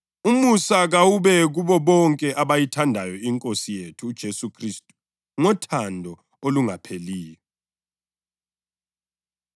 Ukuthula kakube kubazalwane, lothando lokukholwa okuvela kuNkulunkulu uYise laseNkosini uJesu Khristu.